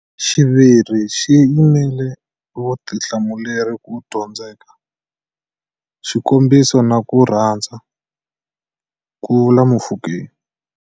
Xiviri xi yimela Vutihlamuleri ku Dyondzeka, Xikombiso na ku Rhandza, ku vule Mofokeng.